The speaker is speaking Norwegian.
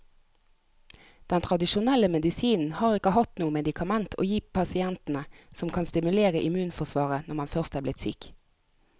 Den tradisjonelle medisinen har ikke hatt noe medikament å gi pasientene som kan stimulere immunforsvaret når man først er blitt syk.